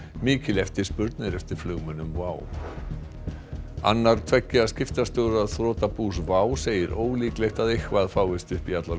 mikil eftirspurn er eftir flugmönnum WOW annar tveggja skiptastjóra þrotabús WOW segir ólíklegt að eitthvað fáist upp í allar